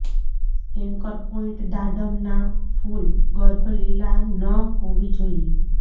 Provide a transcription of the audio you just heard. anchor point દાડમ ના ફૂલ ગર્ભ લીલા ન હોવી જોઈએ